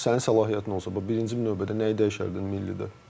Sənin səlahiyyətin olsa, bax birinci növbədə nəyi dəyişərdin millidə?